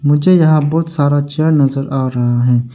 मुझे यहां बहुत सारा चेयर नजर आ रहा है।